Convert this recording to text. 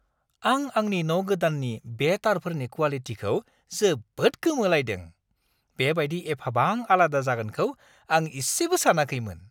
आं आंनि न' गोदाननि बे तारफोरनि क्वालिटिखौ जोबोद गोमोलायदों। बेबायदि एफाबां आलादा जागोनखौ ‌आं इसेबो सानाखैमोन!